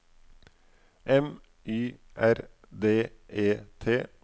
M Y R D E T